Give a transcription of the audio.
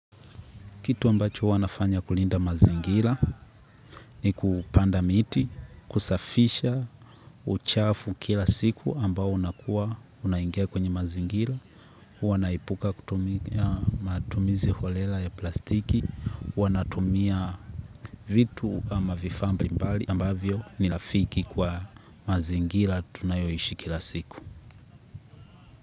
Kitu ambacho huwa nafanya kulinda mazingira ni kupanda miti, kusafisha uchafu kila siku ambao unakuwa unaingia kwenye mazingira. Huwa naepuka matumizi holela ya plastiki, huwa natumia vitu ama vifaa mbalimbali ambavyo ni rafiki kwa mazingira tunayoishi kila siku.